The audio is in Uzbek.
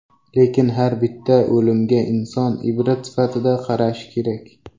Lekin har bitta o‘limga inson ibrat sifatida qarashi kerak.